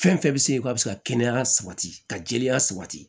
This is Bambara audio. Fɛn fɛn bɛ se ka bɛ se ka kɛnɛya sabati ka jɛya sabati